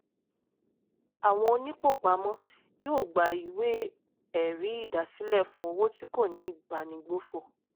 àwọn onípòpamọ́ yóò gba ìwé ẹ̀rí ìdásílẹ̀ fún owó tí kò ní ìbánigbófò.